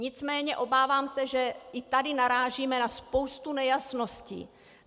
Nicméně obávám se, že i tady narážíme na spoustu nejasností.